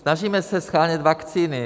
Snažíme se shánět vakcíny.